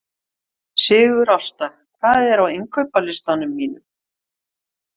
Sigurásta, hvað er á innkaupalistanum mínum?